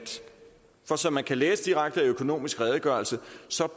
for som man kan læse direkte i økonomisk redegørelse